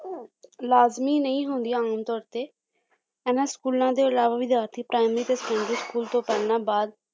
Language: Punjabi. ਲਾਜ਼ਮੀ ਨਹੀਂ ਹੁੰਦੀਆਂ ਆਮ ਤੌਰ ਤੇ ਇਹਨਾਂ ਸਕੂਲਾਂ ਦੇ ਇਲਾਵਾ ਵਿਦਿਆਰਥੀ primary ਤੇ secondary school ਤੋਂ ਪਹਿਲਾਂ ਬਾਅਦ